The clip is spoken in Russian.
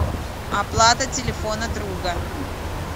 оплата телефона друга